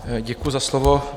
Děkuji za slovo.